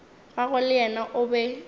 gagwe le yena o be